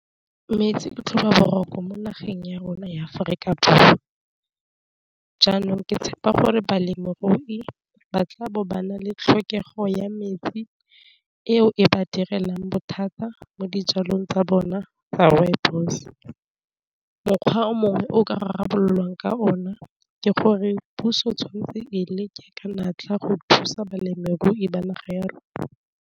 Metsi ke tlhoba boroko mo nageng ya rona ya Aforika Borwa jaanong ke tshepa gore balemirui batla bo bana le tlhokego ya metsi ao e ba direlang bothata fa mo dijalong tsa bona tsa rooibos, mokgwa o mongwe o ka rarabololwang ka ona ke gore puso tshwanetse e leke ka natla go thusa balemirui ba naga ya rona.